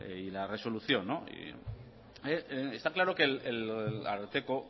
y la resolución está claro que el ararteko